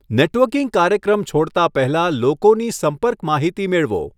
Networking કાર્યક્રમ છોડતા પહેલા લોકોની સંપર્ક માહિતી મેળવો.